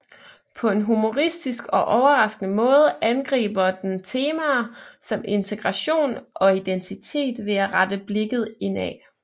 På en humoristisk og overraskende måde angriber den temaer som integration og identitet ved at rette blikket indad